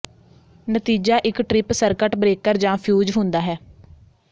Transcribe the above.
ਨਤੀਜਾ ਇੱਕ trip circuit breaker ਜਾਂ ਫਿਊਜ਼ ਹੁੰਦਾ ਹੈ